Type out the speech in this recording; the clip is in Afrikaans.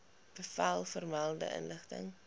bevel vermelde inrigting